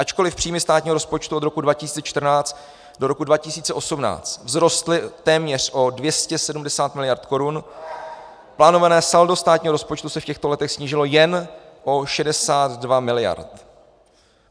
Ačkoliv příjmy státního rozpočtu od roku 2014 do roku 2018 vzrostly téměř o 270 miliard korun, plánované saldo státního rozpočtu se v těchto letech snížilo jen o 62 miliard.